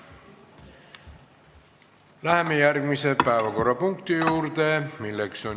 Läheme järgmise päevakorrapunkti juurde.